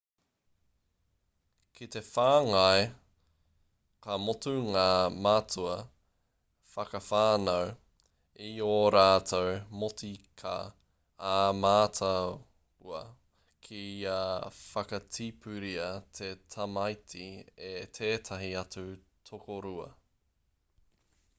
ki te whāngai ka motu ngā mātua whakawhānau i ō rātou motika ā-mātua kia whakatipuria te tamaiti e tētahi atu tokorua